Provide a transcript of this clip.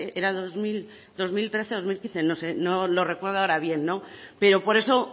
era dos mil trece dos mil quince no lo recuerdo ahora bien pero por eso